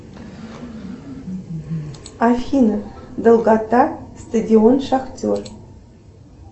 афина долгота стадион шахтер